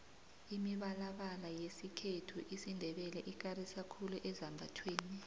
imibalabala yesikhethu isindebele ikarisa khulu ezambathweni